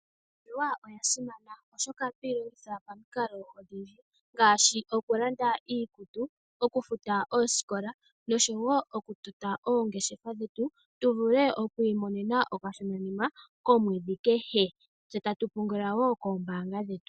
Iimaliwa oya simana oshoka ohatu yi longitha pamikalo odhindji ngaashi okulanda iikutu ,okufuta oosikola oshowo okutota oongeshefa dhetu tu vule okwiimonena okashona nima komwedhi kehe tse ta tu pungula wo koombaanga dhetu.